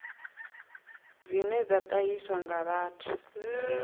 dzine dza ṱahiswa nga vhathu